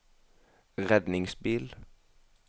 redningsbil